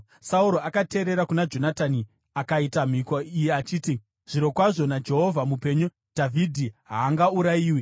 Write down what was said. Sauro akateerera kuna Jonatani akaita mhiko iyi achiti, “Zvirokwazvo naJehovha mupenyu, Dhavhidhi haangaurayiwi.”